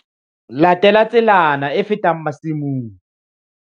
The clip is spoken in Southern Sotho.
Latela tselana e fetang masimong.